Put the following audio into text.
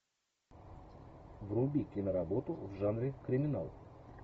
вруби киноработу в жанре криминал